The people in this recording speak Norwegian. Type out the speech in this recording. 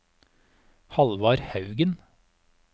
Halvard Haugen